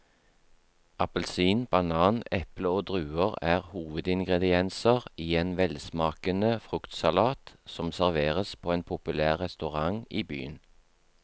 Appelsin, banan, eple og druer er hovedingredienser i en velsmakende fruktsalat som serveres på en populær restaurant i byen.